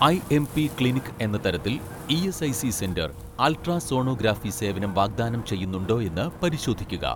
IMP clinic എന്ന തരത്തിൽ ESIC centre ultrasonography സേവനം വാഗ്ദാനം ചെയ്യുന്നുണ്ടോയെന്ന് പരിശോധിക്കുക